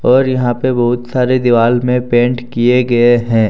और यहां पे बहुत सारे दीवाल में पेंट किए गए हैं।